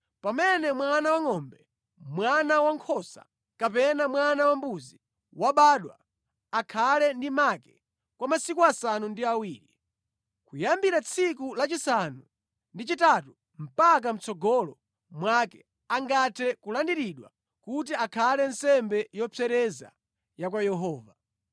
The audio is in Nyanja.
“Pamene mwana wangʼombe, mwana wankhosa kapena mwana wambuzi wabadwa, akhale ndi make kwa masiku asanu ndi awiri. Kuyambira tsiku lachisanu ndi chitatu mpaka mʼtsogolo mwake, angathe kulandiridwa kuti akhale nsembe yopsereza ya kwa Yehova.